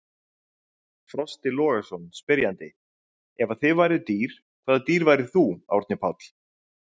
Frosti Logason, spyrjandi: Ef að þið væruð dýr, hvaða dýr væri þú, Árni Páll?